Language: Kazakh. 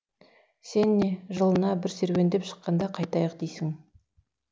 сен не жылына бір серуендеп шыққанда қайтайық дейсің